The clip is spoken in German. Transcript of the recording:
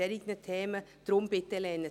Deshalb bitte ich Sie, all dies abzulehnen.